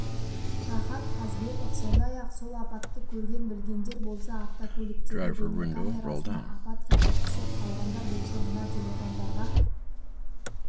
рахат қазбеков сондай-ақ сол апатты көрген-білгендер болса автокөліктегі бейнекамерасына апат сәті түсіп қалғандар болса мына телефондарға